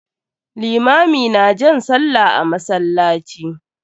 Limami na jan sallah a masallaci.